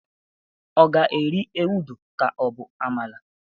ọ ga eri ewudo ka o bu amala?